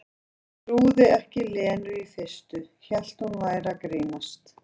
Hún trúði ekki Lenu í fyrstu, hélt hún væri að grínast.